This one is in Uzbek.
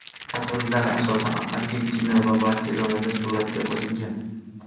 Tasvirlar, asosan, Argentina va Barselonada suratga olingan.